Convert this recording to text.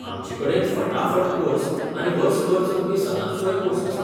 आमचेकडेन फटाफट कोर्स आनी वर्सभर चलपी सदांचोय कोर्स आसा.